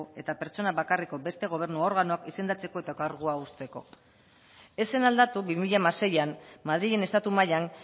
eta pertsona bakarreko beste gobernu organoak izendatzeko eta kargua uzteko ez zen aldatu bi mila hamaseian madrilen estatu mailan